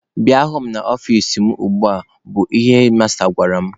Bịa hụ m n'ọfici mụ ugbua! bụ ihe hedmasta gwara m.